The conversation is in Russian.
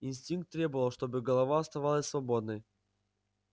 инстинкт требовал чтобы голова оставалась свободной